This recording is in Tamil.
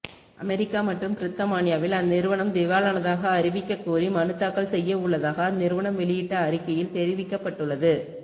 அமெரிக்கா மற்றும் பிரித்தமானியாவில் அந்நிறுவனம் திவாலானதாக அறிவிக்கக் கோரி மனு தாக்கல் செய்ய உள்ளதாக அந்நிறுவனம் வெளியிட்ட அறிக்கையில் தெரிவிக்கப்பட்டுள்ளது